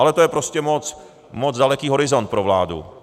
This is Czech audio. Ale to je prostě moc daleký horizont pro vládu.